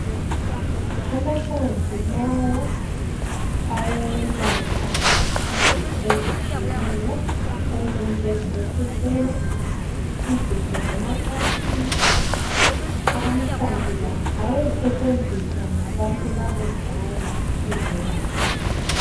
Amahlamvu lawa ayelapha izifo ezitshiyeneyo ezinjengoku khwehlela, izifo zemacansini. Amahlamvu la asesetshenziswa ngabantu bakudala ukuzelapha.